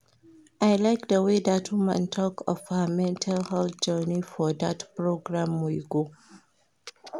I like the way dat woman talk of her mental health journey for dat program we go